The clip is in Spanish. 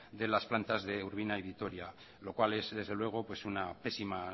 de las plantas de urbina y vitoria lo cual es desde luego una pésima